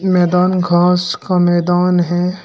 मैदान घास का मैदान है।